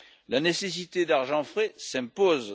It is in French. La nécessité d'argent frais s'impose.